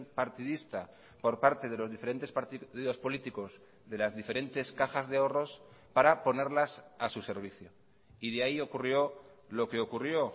partidista por parte de los diferentes partidos políticos de las diferentes cajas de ahorros para ponerlas a su servicio y de ahí ocurrió lo que ocurrió